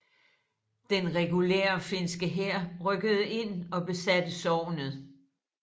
Den regulære finske hær rykkede ind og besatte sognet